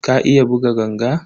Ka iya buga ganga?